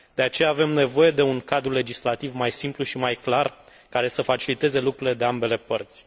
De aceea, avem nevoie de un cadru legislativ mai simplu și mai clar, care să faciliteze lucrurile de ambele părți.